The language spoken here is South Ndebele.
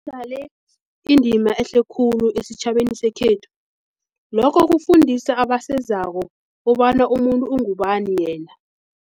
indima ehle khulu esitjhabeni sekhethu lokho kufundisa abasezako kobana umuntu ungubani yena.